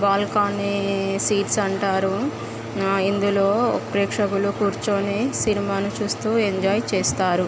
Balcony seats అంటారు. ఇందులో ప్రేక్షకులు కూర్చొని సినిమాలు చుస్తూఎంజాయ్ చేస్తారు.